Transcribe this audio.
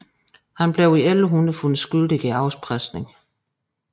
Han blev i 1100 fundet skyldig i afpresning